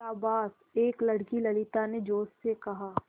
शाबाश एक लड़की ललिता ने जोश से कहा